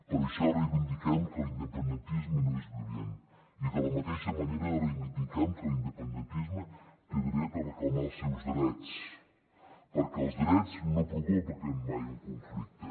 per això reivindiquem que l’independentisme no és violent i de la mateixa manera reivindiquem que l’independentisme té dret a reclamar els seus drets perquè els drets no provoquen mai un conflicte